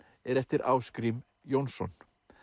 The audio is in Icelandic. er eftir Ásgrím Jónsson